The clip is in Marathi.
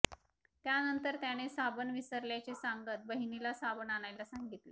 त्यानंतर त्याने साबण विसरल्याचे सांगत बहिणीला साबण आणायला सांगितले